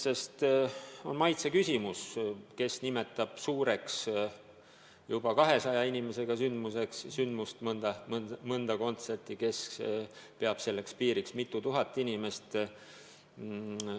See on maitse küsimus: kes nimetab suureks juba 200 inimesega sündmust, näiteks mõnda kontserti, kes peab selleks piiriks mitu tuhat inimest.